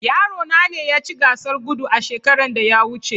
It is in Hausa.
Yarona ne yaci Gasar Gudu a shekaran da ya wuce